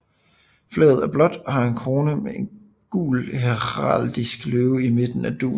Flaget er blåt og har en krone med en gul heraldisk løve i midten af dugen